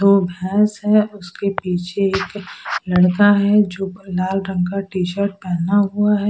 दो भैंस हैं उसके पीछे एक लड़का है जो लाल रंग का टी शर्ट पहना हुआ है।